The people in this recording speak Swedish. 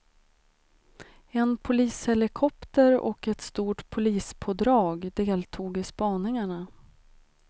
En polishelikopter och ett stort polispådrag deltog i spaningarna.